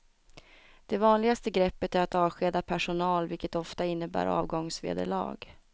Det vanligaste greppet är att avskeda personal vilket ofta innebär avgångsvederlag.